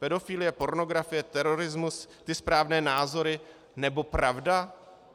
Pedofilie, pornografie, terorismus, ty správné názory, nebo pravda?